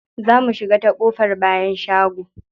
Za mu shiga ta ƙofar bayan shago.